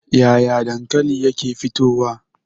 Yaya dankali yake fitowa?